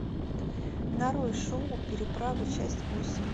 нарой шоу переправа часть восемь